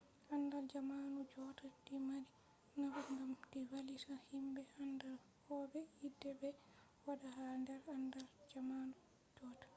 andal jamanu jotta du mari nafu gam du vallita himbe anda kobe yide be wada ha der andal jamanu jotta